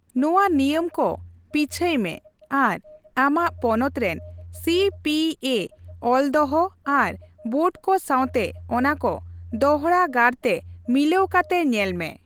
ᱱᱚᱣᱟ ᱱᱤᱭᱟᱹᱢ ᱠᱚ ᱯᱤᱪᱦᱟᱹᱭ ᱢᱮ ᱟᱨ ᱟᱢᱟᱜ ᱯᱚᱱᱚᱛ ᱨᱮᱱ ᱥᱤᱹᱯᱤᱹᱮ ᱚᱞᱫᱚᱦᱚ ᱟᱨ ᱵᱚᱨᱰᱠᱚ ᱥᱟᱣᱛᱮ ᱚᱱᱟ ᱠᱚ ᱫᱚᱲᱦᱟ ᱜᱟᱨᱛᱮ ᱢᱤᱞᱟᱹᱣ ᱠᱟᱛᱮ ᱧᱮᱞ ᱢᱮ ᱾